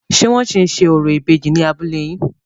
Ṣé wọ́n ṣì ń ṣe orò ìbejì ní abúlé yín?